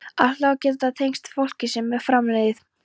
Álfar geta tengst fólki sem er framliðið.